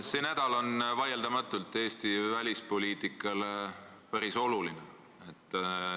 See nädal on vaieldamatult Eesti välispoliitikale päris oluline.